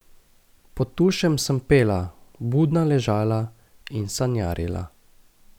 Pod tušem sem pela, budna ležala in sanjarila.